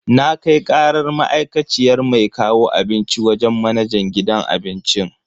Na kai karar ma'aikaciyar mai kawo abinci wajen manajan gidan abincin.